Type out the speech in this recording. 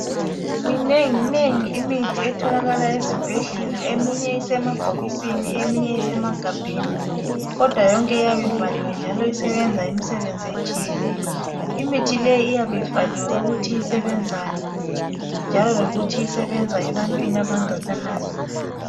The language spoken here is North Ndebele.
Minengi nengi imithi etholakala ezibhedlela eminye isemabhokisini eminye isemagabheni kodwa yonke iyabe ivaliwe njalo isebenza imisebenzi etshiyeneyo. Imithi leyi iyabe ibhaliwe ukuthi isebenzani, njalo lokuthi isebenza ebantwini abangakanani.